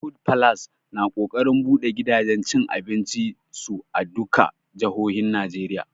Food falas na ƙoƙarin buɗe gidajen cin abincin su a duka jahohin Najeriya